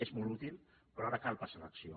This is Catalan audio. és molt útil però ara cal passar a l’acció